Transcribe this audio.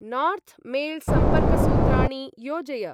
North mail सम्पर्कसूत्राणि योजय।